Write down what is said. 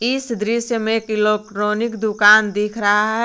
इस दृश्य में एक इलेक्ट्रॉनिक दुकान दिख रहा है।